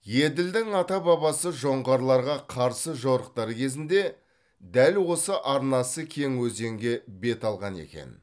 еділдің ата бабасы жоңғарларға қарсы жорықтар кезінде дәл осы арнасы кең өзенге бет алған екен